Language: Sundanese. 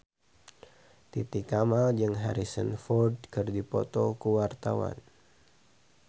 Titi Kamal jeung Harrison Ford keur dipoto ku wartawan